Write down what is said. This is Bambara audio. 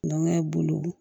Nɔnɔ ye bolo